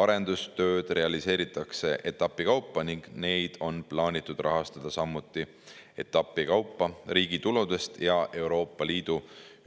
Arendustööd realiseeritakse etapi kaupa ning neid on plaanitud rahastada samuti etapi kaupa riigi tuludest ja Euroopa Liidu